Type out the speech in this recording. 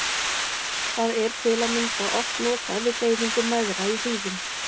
Það er til að mynda oft notað við deyfingu mæðra í hríðum.